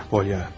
Polya.